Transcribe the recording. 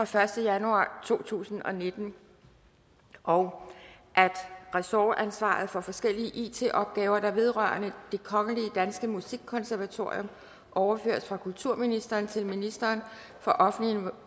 første januar to tusind og nitten og at ressortansvaret for forskellige it opgaver der vedrører det kongelige danske musikkonservatorium overføres fra kulturministeren til ministeren for offentlig